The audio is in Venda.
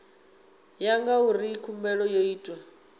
ya ngauri khumbelo yo itwa